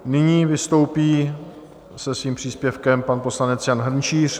Nyní vystoupí se svým příspěvkem pan poslanec Jan Hrnčíř.